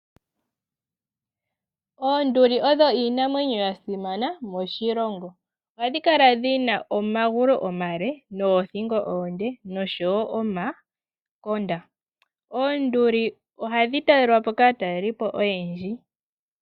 Oonduli odho iinamwenyo ya simana moshilongo. Ohadhi kala dhi na omagulu omale noothingo oonde noshowo omangwathi . Oonduli ohadhi talelwa po kaatalelipo oyendji.